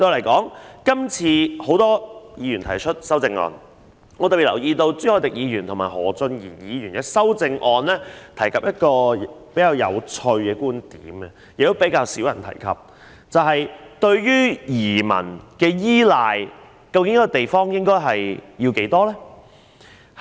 今次有很多議員就議案提出修正案，我特別留意到朱凱廸議員和何俊賢議員的修正案均提及一個比較有趣，但卻較少人提及的觀點，那就是一個地方對移民的依賴應該有多重。